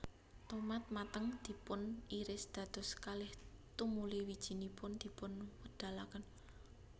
Tomat mateng dipuniris dados kalih tumuli wijinipun dipunwedalaken